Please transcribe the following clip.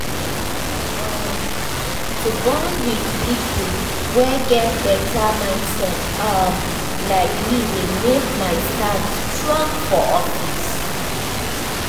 um to bond with people wey get better mindset um like me dey make my stand strong for office. um